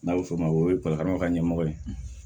N'a bɛ fɔ o ma o ye ka ɲɛmɔgɔ ye